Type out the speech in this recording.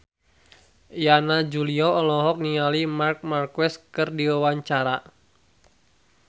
Yana Julio olohok ningali Marc Marquez keur diwawancara